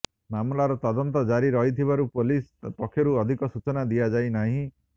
ମାମଲାର ତଦନ୍ତ ଜାରି ରହିଥିବାରୁ ପୋଲିସ ପକ୍ଷରୁ ଅଧିକ ସୂଚନା ଦିଆଯାଇ ନାହିଁ